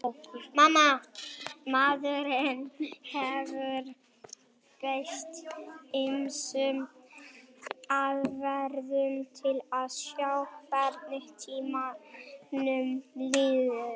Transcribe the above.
maðurinn hefur beitt ýmsum aðferðum til að sjá hvernig tímanum líður